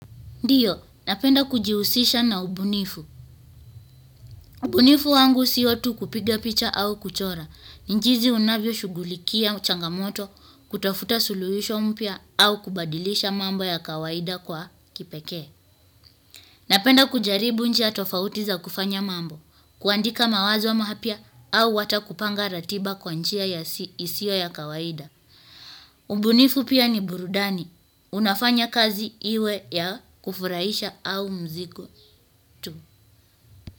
Ndiyo. Napenda kujihusisha na ubunifu ubunifu wangu sio tu kupiga picha au kuchora. Ni jinsi unavyo shughulikia changamoto, kutafuta suluhisho mpya au kubadilisha mambo ya kawaida kwa kipekee. Napenda kujaribu njia tofauti za kufanya mambo, kuandika mawazo mapya au hata kupanga ratiba kwa njia isiyo ya kawaida. Ubunifu pia ni burudani. Unafanya kazi iwe ya kufurahisha au mzigo.